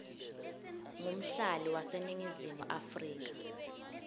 ngumhlali waseningizimu afrika